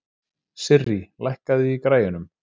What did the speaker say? Sirrí, lækkaðu í græjunum.